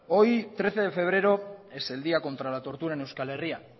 hoy trece de febrero es el día contra la tortura en euskal herria